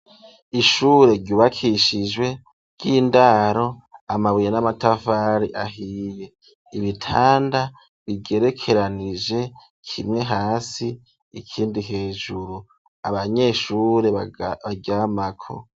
Ishure ryubakishijwe ,ry'indaro amabuye n'amatafari ahiye, ibitanda bigerekeranije kimwe hasi, ikindi hejuru abanyeshure baryamako.